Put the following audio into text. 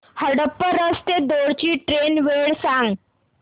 हडपसर ते दौंड ची ट्रेन वेळ सांग